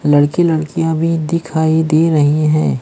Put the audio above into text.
लड़के लड़कियां भी दिखाई दे रही हैं।